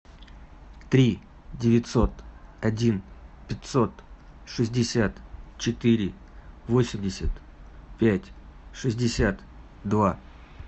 три девятьсот один пятьсот шестьдесят четыре восемьдесят пять шестьдесят два